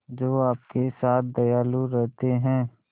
जो आपके साथ दयालु रहते हैं